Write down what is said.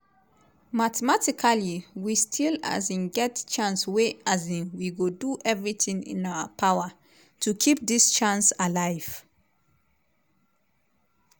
mathematically we still um get chance wey we go do everitin in our power to keep dis chance alive.”